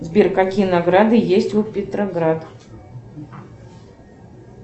сбер какие награды есть у петроград